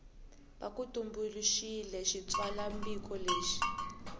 va ku tumbuluxiwile xitsalwambiko lexi